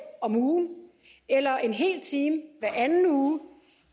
om ugen eller en hel time hver anden uge